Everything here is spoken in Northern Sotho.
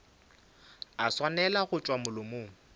a swanela go tšwa molomong